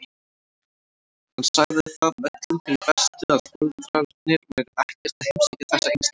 Hann sagði það öllum fyrir bestu að foreldrarnir væru ekkert að heimsækja þessa einstaklinga.